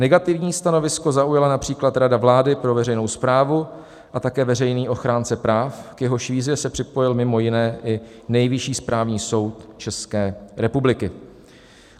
Negativní stanovisko zaujala například rada vlády pro veřejnou správu a také veřejný ochránce práv, k jehož výzvě se připojil mimo jiné i Nejvyšší správní soud České republiky.